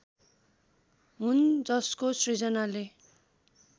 हुन् जसको सृजनाले